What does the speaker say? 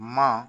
Ma